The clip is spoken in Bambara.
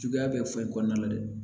Juguya bɛ foyi kɔnɔna la dɛ